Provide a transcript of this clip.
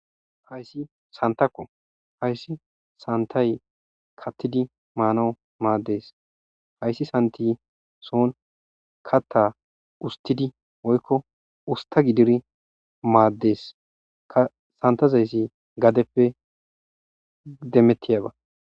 Hayssi santakko hayssi santay kattidi maanawu maaddees hayssi santi soon katta ustidi woykko usta gidiri maaddees ka santazayssi gadeppe demettiyaba.